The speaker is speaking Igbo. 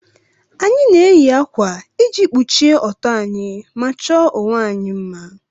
Anyị na-eyi ákwà iji kpuchie ọtọ anyị ma chọọ onwe anyị mma